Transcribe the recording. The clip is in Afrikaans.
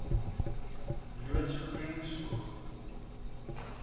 loods groen spoeg